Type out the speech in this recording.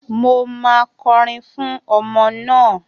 Mo máa kọrin fún ọmọ naa